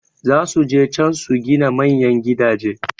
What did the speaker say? Zasu je can su gina manyan gidaje